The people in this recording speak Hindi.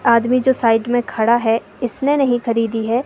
आदमी जो साइड में खड़ा है इसने नहीं खरीदी है।